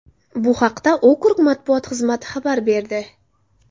Bu haqda okrug matbuot xizmati xabar berdi .